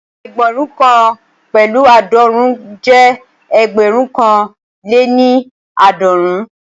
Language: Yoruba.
Ẹgbẹ̀rún kan pẹ̀lu aadọrun jẹ́ ẹgbẹ̀rún kan lè ní aadọrun